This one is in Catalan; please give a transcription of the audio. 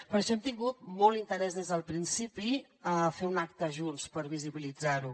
per això hem tingut molt interès des del principi a fer un acte junts per visibilitzar ho